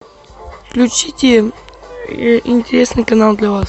включите интересный канал для вас